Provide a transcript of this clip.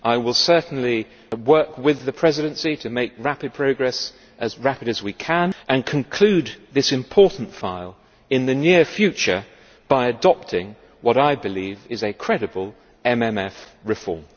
I will certainly work with the Presidency to make as rapid progress as possible, and conclude this important file in the near future by adopting what I believe is a credible MMF reform.